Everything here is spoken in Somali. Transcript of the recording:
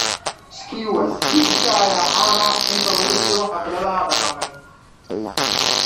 Skewers hilibka ayaa caan ah inta lagu jiro xafladaha dhaqameed.